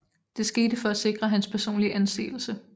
Det skete for at sikre hans personlige anseelse